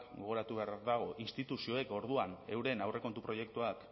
gogoratu beharra dago instituzioak orduan euren aurrekontu proiektuak